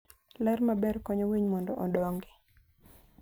Ler maber konyo winy mondo odongi.